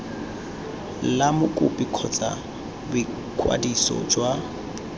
la mokopi kgotsa boikwadiso jwa